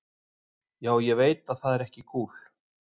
Já, ég veit það er ekki kúl.